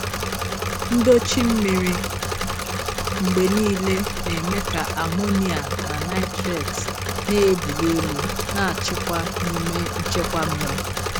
Ndochi mmiri mgbe niile na-eme ka amonia na nitrate na-ebuli elu na-achịkwa n'ime nchekwa mmiri.